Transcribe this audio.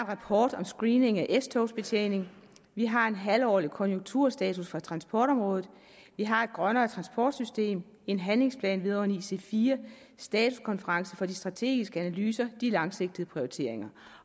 rapport om screening af s togs betjening vi har en halvårlig konjunkturstatus for transportområdet vi har et grønnere transportsystem en handlingsplan vedrørende ic4 statuskonference for de strategiske analyser de langsigtede prioriteringer